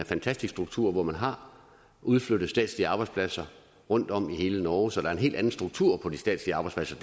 fantastisk struktur hvor man har udflyttet statslige arbejdspladser rundtom i hele norge så der er en helt anden struktur på de statslige arbejdspladser